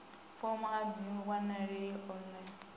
fomo a dzi wanalei online